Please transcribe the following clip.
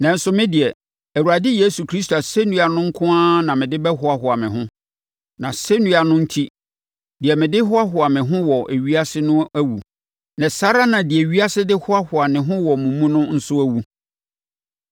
Nanso, me deɛ, Awurade Yesu Kristo asɛnnua no nko ara na mede bɛhoahoa me ho; nʼasɛnnua no enti, deɛ mede hoahoa me ho wɔ ewiase no awu, na saa ara na deɛ ewiase de hoahoa ne ho wɔ me mu no nso awu.